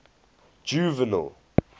juvenal